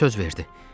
O da söz verdi.